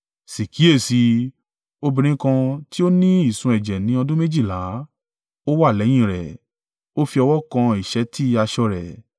Sì kíyèsi i, obìnrin kan ti ó ní ìsun ẹ̀jẹ̀ ní ọdún méjìlá, ó wá lẹ́yìn rẹ̀, ó fi ọwọ́ kan ìṣẹ́tí aṣọ rẹ̀.